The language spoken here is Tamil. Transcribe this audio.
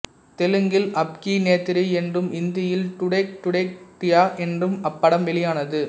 தெலுங்கில் அப்கிநேத்ரி என்றும் ஹிந்தியில் டூடக் டூடக் டூட்டியா என்றும் அப்படம் வெளியானது